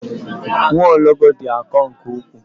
Nwaologbo dị akọ nke ukwuu.